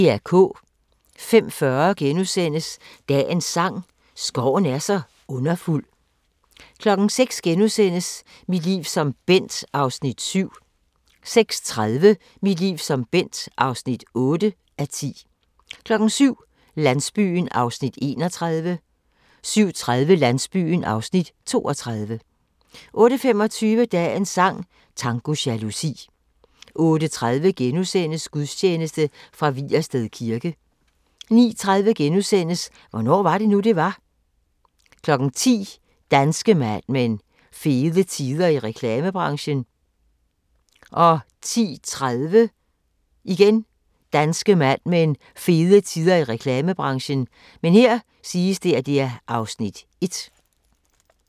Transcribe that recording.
05:40: Dagens sang: Skoven er så underfuld * 06:00: Mit liv som Bent (7:10)* 06:30: Mit liv som Bent (8:10) 07:00: Landsbyen (31:44) 07:30: Landsbyen (32:44) 08:25: Dagens sang: Tango jalousi 08:30: Gudstjeneste fra Vigersted Kirke * 09:30: Hvornår var det nu, det var? 10:00: Danske Mad Men: Fede tider i reklamebranchen 10:30: Danske Mad Men: Fede tider i reklamebranchen (Afs. 1)